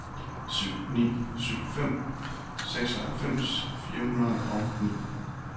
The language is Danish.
syv ni syv fem seksoghalvfems fire hundrede og ni